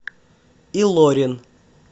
илорин